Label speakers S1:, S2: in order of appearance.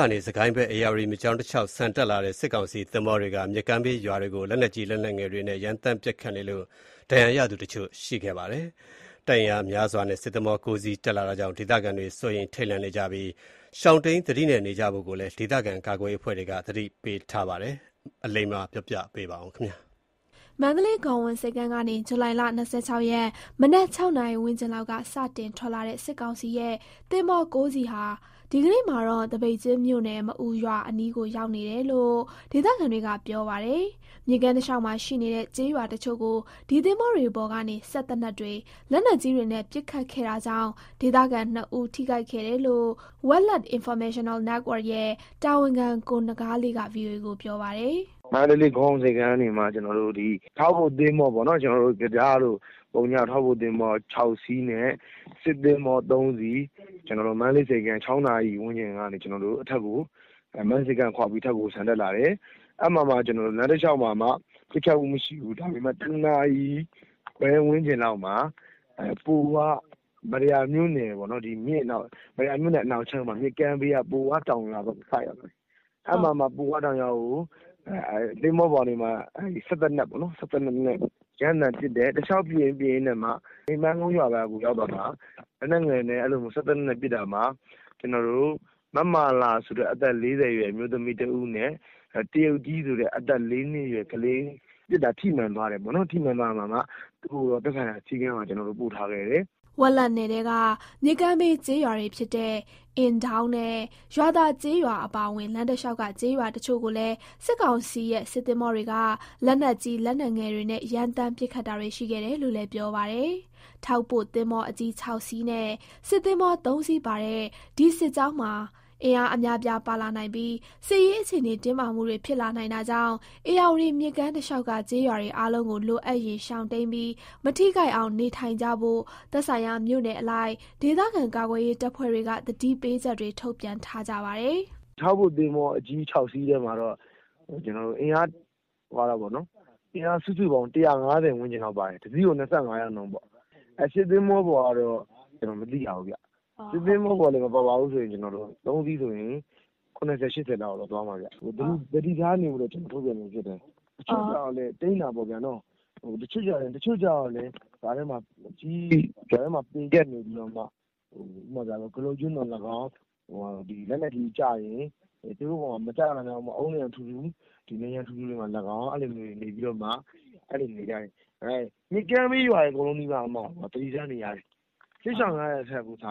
S1: ကနေ စစ်ကိုင်းဘက် ဧရာဝတီ မြစ်ကြောင်းတလျှောက် ဒီရက်ပိုင်း ဆန်တက်လာတဲ့ စစ်ကောင်စီ သင်္ဘောတွေက ဧရာဝတီ မြစ်ကမ်းဘေးက ကျေးရွာတွေကို လက်နက်ကြီး လက်နက်ငယ်တွေနဲ့ ရမ်းသမ်း ပစ်ခတ်လို့ ဒဏ်ရာရသူတချို့ ရှိခဲ့ပါတယ်။ တပ်အင်အား အများအပြားနဲ့ စစ်ကောင်စီရဲ့ သင်္ဘော ၉ စီး တက်လာတာကြောင့် ဒေသခံတွေ စိုးရိမ် ထိတ်လန့် နေကြသလို၊ လိုအပ်ရင် ရှောင်တိမ်းပြီး သတိနဲ့ နေကြဖို့ ဒေသကာကွယ်ရေးအဖွဲ့တွေကလည်း သတိပေး ထုတ်ပြန်ထားကြပါတယ်။ ဒီအကြောင်း သတင်းပေးပို့ချက်ကို အလိမ္မာက တင်ပြပေးပါမယ်။
S2: မန္တလေး ဂေါဝန်ဆိပ်ကမ်းကနေ ဇူလိုင် ၂၆ ရက် မနက် ၆ နာရီဝန်းကျင်လောက်က စတင်ထွက်လာတဲ့ စစ်ကောင်စီရဲ့ သင်္ဘော ၉ စီးဟာ ဒီကနေ့မှာတော့ သပိတ်ကျင်းမြို့နယ် မအူရွာအနီးကို ရောက်နေတယ်လို့ ဒေသခံတွေက ပြောပါတယ်။ မြစ်ကမ်းတလျှောက်မှာ ရှိနေတဲ့ ကျေးရွာ တချို့ကို ဒီသင်္ဘောတွေပေါ်ကနေ စက်သေနတ်တွေ၊ လက်နက်ကြီးတွေနဲ့ ပစ်ခတ်ခဲ့တာကြောင့် ဒေသခံနှစ်ဦး ထိခိုက်ခဲ့တယ်လို့ Welet Informational Network ရဲ့ တာဝန်ခံ ကိုနဂါးလေးက ဗွီအိုအေကို ပြောပါတယ်။
S1: “မန္တလေး ဂေါဝန်ဆိပ်ကမ်း ကနေမှ ဒီထောက်ကူ သင်္ဘော ၆ စီးနဲ့ စစ်သင်္ဘော ၃ စီး၊ မနက် ၆ နာရီလောက်မှာ မန္တလေး ဆိပ်ကမ်း ကနေ ခွာပြီး အထက်ကို ဆန်တက်လာတယ်။ အဲ့မှာမှ လမ်းတလျှောက်မှာ ပစ်တာမရှိသေးဘူး။ ဒါပေမဲ့ ဒီနေ့ ၁ နာရီခွဲ ဝန်းကျင်လောက်မှာ မတ္တရာမြို့နယ် နောက်ခြမ်း မြစ်ကမ်းဘေးက ပိုဝတောင် ရွာဘက်ကိုရောက်တော့ သင်္ဘောပေါ်ကနေမှ ပိုဝတောင်ရွာကို စက်သေနတ်နဲ့ ရမ်းသမ်းပစ်တယ်။ ပစ်ရင်းကနေမှ စိန်ပန်းကုန်း ရွာဘက်ကို ရောက်တော့မှ လက်နက်ငယ်နဲ့ စက်သေနတ်နဲ့ ပစ်တာမှာ မမာလာဆိုတဲ့ အသက် ၄၀ အရွယ် အမျိုးသမီးတစ်ဦးနဲ့ တရုတ်ကြီးဆိုတဲ့ အသက် ၄ နှစ်အရွယ်ကလေးတဦး စက်သေနတ် ထိမှန်သွားတယ်ပေါ့နော်၊။ သူတို့ကိုတော့ သက်ဆိုင်ရာ ဆေးခန်းကို ပို့ထားခဲ့တယ်။”
S2: ဝက်လက်နယ်ထဲက မြစ်ကမ်းဘေး ကျေးရွာတွေဖြစ်တဲ့ အင်ဒေါင်းနဲ့ ရွာသာကျေးရွာ အပါအဝင် လမ်းတလျှောက်က ကျေးရွာတချို့ကိုလည်း စစ်ကောင်စီရဲ့ စစ်သင်္ဘောတွေက လက်နက်ကြီး လက်နက်ငယ်တွေနဲ့ ရမ်းသမ်းပစ်ခတ်တာတွေ ရှိခဲ့တယ်လို့လည်း ပြောပါတယ်။ ထောက်ပို့သင်္ဘောအကြီး ၆ စီးနဲ့ စစ်သင်္ဘော ၃ စီးပါတဲ့ ဒီစစ်ကြောင်းမှာ အင်အား အများအပြား ပါလာနိုင်ပြီး စစ်ရေးအခြေအနေ တင်းမာမှုတွေ ဖြစ်လာနိုင်တာကြောင့် ဧရာဝတီမြစ်ကမ်းတလျှောက်က ကျေးရွာတွေ အားလုံးကို လိုအပ်ရင် ရှောင်တိမ်းပြီး မထိခိုက်အောင် နေထိုင်ကြဖို့ သက်ဆိုင်ရာမြို့နယ်အလိုက် ဒေသခံ ကာကွယ်ရေးတပ်ဖွဲ့တွေက သတိပေးချက်တွေ ထုတ်ပြန်ထားကြပါတယ်။
S1: “ထောက်ပို့ သင်္ဘောအကြီး ၆ စီးထဲမှာတော့ အင်အား စုစုပေါင်း ၁၅၀ ဝန်းကျင်လောက်ပါတယ်။ တစီးကို ၂၅ ယောက်နှုန်းပေါ့။ စစ်သင်္ဘော ပေါ်ကတော့ ကျနော်တို့ မသိရဘူးဗျ။ စစ်သင်္ဘောပေါ်မှာ ဆိုရင် မပါဘူးဆိုရင်တောင် ၇၀၊ ၈၀ လောက်တော့ ရှိမှာပဲဗျ။ သတိထားနေဖို့အတွက် ထုတ်ပြန်ခြင်းဖြစ်တယ်
S2: ။ တချို့ကျတေ
S1: ာ့လည်း ကြားထဲမှာ ပေကပ်နေပြီးတော့မှ ကတုတ်ကျင်းသော်လည်းကောင်း၊ လက်နက်ကြီးကျရင် သူတို့ပေါ် မကျနိုင်အောင် အုတ်နံရံထူထူ၊ အဲ့လိုနေရာတွေမှာ နေကြဖို့ပေါ့။ မြစ်ကမ်းဘေးရွာတွေ အကုန်လုံးနီးပါး သတိထားနေရတယ်။ စစ်ရှောင်ကြ ရတာထက်စာ